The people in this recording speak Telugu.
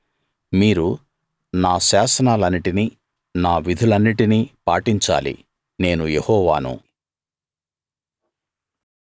మీరు నా శాసనాలన్నిటిని నా విధులన్నిటిని పాటించాలి నేను యెహోవాను